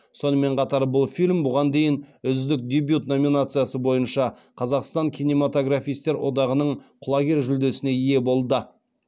сонымен қатар бұл фильм бұған дейін үздік дебют номинациясы бойынша қазақстан кинематографистер одағының құлагер жүлдесіне ие болды